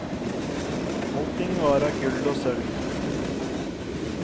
Allting var av gull og sølv.